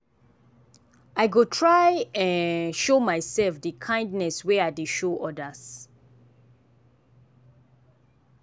i go try um show myself dey kindness wey i dey show others.